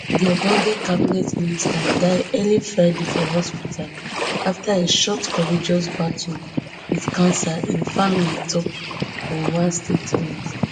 di ogbonge cabinet minister die early friday for hospital afta a short courageous battle wit cancer im family tok for one statement